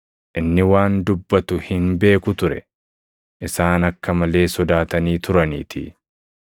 Inni waan dubbatu hin beeku ture; isaan akka malee sodaatanii turaniitii.